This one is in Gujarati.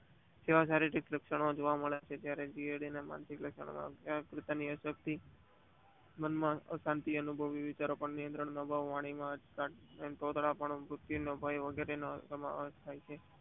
જેવા શારીરિક લક્ષણો જોવા મળે છે ત્યારે માનસિક લક્ષણો ની આકૃતિ ની અસરકારતી મનમાં અશાંતિ અનુભવી વિચારો પણ નિયંત્રણ ના હોય ટોટલ પાનું અનુભવે છે.